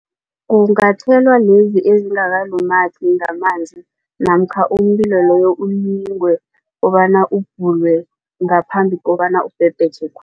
Kungathelwa lezi ezingakalumathi ngamanzi namkha umlilo loyo ulingwe kobana ubhulwe ngaphambi kobana